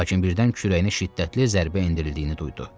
Lakin birdən kürəyinə şiddətli zərbə endirildiyini duydu.